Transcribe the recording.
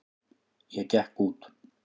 Ég gekk út.